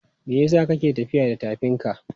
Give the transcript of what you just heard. Me yasa ka ke tafiya da tafinka?